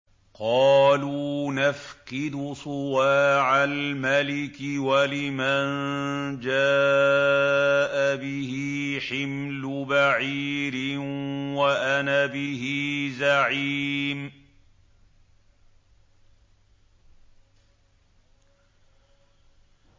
قَالُوا نَفْقِدُ صُوَاعَ الْمَلِكِ وَلِمَن جَاءَ بِهِ حِمْلُ بَعِيرٍ وَأَنَا بِهِ زَعِيمٌ